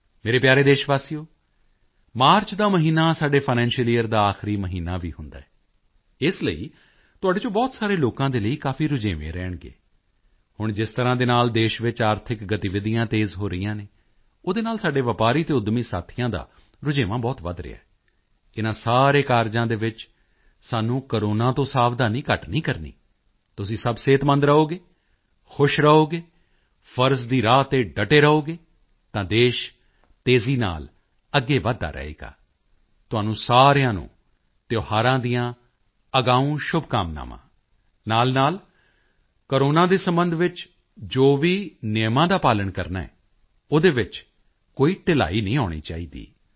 ਮੇਰੇ ਪਿਆਰੇ ਦੇਸ਼ਵਾਸੀਓ ਮਾਰਚ ਦਾ ਮਹੀਨਾ ਸਾਡੇ ਫਾਈਨੈਂਸ਼ੀਅਲ ਯੀਅਰ ਦਾ ਆਖਰੀ ਮਹੀਨਾ ਵੀ ਹੁੰਦਾ ਹੈ ਇਸ ਲਈ ਤੁਹਾਡੇ ਚੋਂ ਬਹੁਤ ਸਾਰੇ ਲੋਕਾਂ ਦੇ ਲਈ ਕਾਫੀ ਰੁਝੇਵੇਂ ਰਹਿਣਗੇ ਹੁਣ ਜਿਸ ਤਰ੍ਹਾਂ ਦੇ ਨਾਲ ਦੇਸ਼ ਵਿੱਚ ਆਰਥਿਕ ਗਤੀਵਿਧੀਆਂ ਤੇਜ਼ ਹੋ ਰਹੀਆਂ ਹਨ ਉਹਦੇ ਨਾਲ ਸਾਡੇ ਵਪਾਰੀ ਅਤੇ ਉੱਦਮੀ ਸਾਥੀਆਂ ਦਾ ਰੁਝੇਵਾਂ ਬਹੁਤ ਵਧ ਰਿਹਾ ਹੈ ਇਨ੍ਹਾਂ ਸਾਰੇ ਕਾਰਜਾਂ ਦੇ ਵਿੱਚ ਸਾਨੂੰ ਕੋਰੋਨਾ ਤੋਂ ਸਾਵਧਾਨੀ ਘੱਟ ਨਹੀਂ ਕਰਨੀ ਹੈ ਤੁਸੀਂ ਸਭ ਸਿਹਤਮੰਦ ਰਹੋਗੇ ਖੁਸ਼ ਰਹੋਗੇ ਫ਼ਰਜ਼ ਦੀ ਰਾਹ ਤੇ ਡਟੇ ਰਹੋਗੇ ਤਾਂ ਦੇਸ਼ ਤੇਜ਼ੀ ਨਾਲ ਅੱਗੇ ਵਧਦਾ ਰਹੇਗਾ ਤੁਹਾਨੂੰ ਸਾਰਿਆਂ ਨੂੰ ਤਿਓਹਾਰਾਂ ਦੀਆਂ ਅਗਾਊਂ ਸ਼ੁਭਕਾਮਨਾਵਾਂ ਨਾਲਨਾਲ ਕੋਰੋਨਾ ਦੇ ਸਬੰਧ ਵਿੱਚ ਜੋ ਵੀ ਨਿਯਮਾਂ ਦਾ ਪਾਲਣ ਕਰਨਾ ਹੈ ਓਹਦੇ ਵਿੱਚ ਕੋਈ ਢਿਲਾਈ ਨਹੀਂ ਆਉਣੀ ਚਾਹੀਦੀ